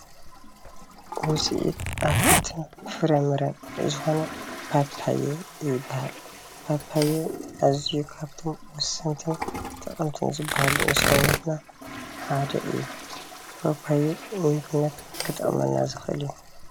ውፅኢት ኣትክልትን ፍራምረን ዝኮኑ ኣትክልቲ ፓፓዮ ይባሃል፡፡ ፓፓየ ኣዚዩ ካብቶም ወሰንትን ጠቀምትን ዝባሃሉ ንሰውነትና ሓደ እዩ፡፡ ፓፓዮ ንምግብነት ክጠቅመና ዝክእል እዩ፡፡